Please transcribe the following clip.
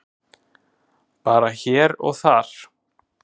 Bara hér og þar.